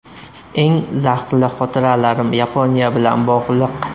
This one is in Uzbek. Eng zavqli xotiralarim Yaponiya bilan bog‘liq.